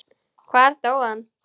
Hvar dó hann?